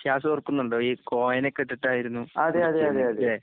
ഷിയാസോർക്കുന്നുണ്ടോ ഈകോയിനൊക്കിട്ടിട്ടായിരുന്നു വിളിച്ചിരുന്നല്ലേ?